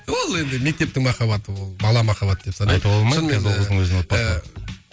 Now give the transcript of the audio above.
ол енді мектептің махаббаты ол бала махаббат деп санайды